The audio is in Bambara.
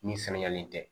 Min saniyalen tɛ